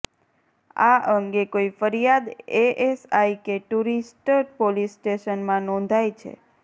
આ અંગે કોઈ ફરિયાદ એએસઆઈ કે ટુરિસ્ટ પોલીસ સ્ટેશનમાં નોંધાઈ છે